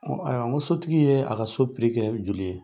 Ɔ aya, n ko sotigi ye a ka so kɛ joli ye?